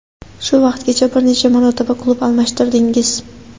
Shu vaqtgacha bir necha marotaba klub almashtirdingiz.